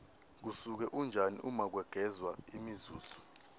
kusuke kunjani uma kwegezwa imizuzu